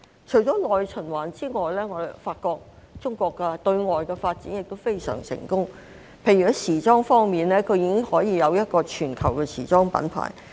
除了內循環之外，我發覺中國的對外發展也非常成功，例如在時裝方面，已經有一個全球的時裝品牌。